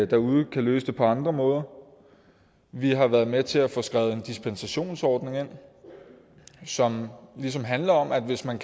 derude kan løse det på andre måder vi har været med til at få skrevet en dispensationsordning ind som ligesom handler om at hvis man